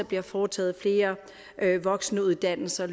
bliver foretaget flere voksenuddannelser og